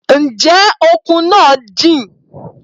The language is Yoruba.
Ǹjẹ́ òkun náà jìn?